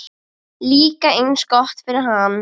Líka eins gott fyrir hann.